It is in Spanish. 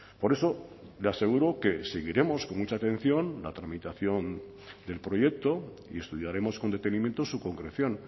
por eso le aseguro que seguiremos con mucha atención la tramitación del proyecto y estudiaremos con detenimiento su concreción